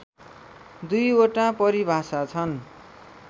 दुईवटा परिभाषा छन्